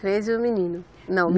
Três e o menino, não.